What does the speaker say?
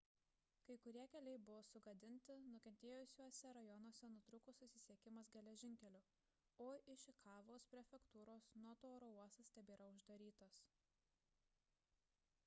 kai kurie keliai buvo sugadinti nukentėjusiuose rajonuose nutrūko susisiekimas geležinkeliu o išikavos prefektūros noto oro uostas tebėra uždarytas